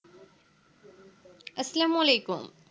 আসসালামু আলাইকুম